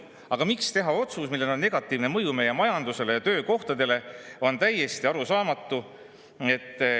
Aga miks teha otsus, millel on negatiivne mõju meie majandusele ja töökohtadele, on täiesti arusaamatu.